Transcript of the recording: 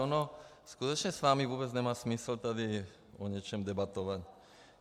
Ono skutečně s vámi vůbec nemá smysl tady o něčem debatovat.